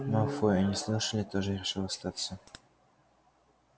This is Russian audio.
малфой они слышали тоже решил остаться